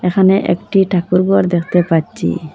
এখানে একটি ঠাকুর ঘর দেখতে পাচ্চি।